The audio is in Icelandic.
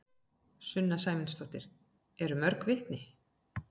Sunna Sæmundsdóttir: Eru mörg vitni?